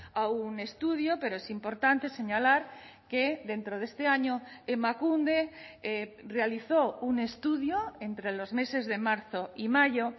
a un estudio pero es importante señalar que dentro de este año emakunde realizó un estudio entre los meses de marzo y mayo